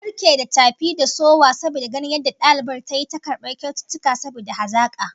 An barke da tafi da sowa saboda ganin yadda dalibar tayi ta karbar kyaututtuka saboda hazaka